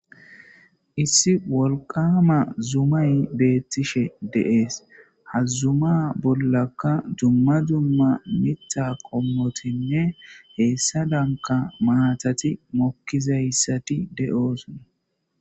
Issi wolqama zumay beettishe deees hazzuma bollakka dumma dumma mita qommotinne heessa danka maatati mokkizayssati de'oosona.